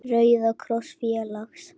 Rauða kross félags.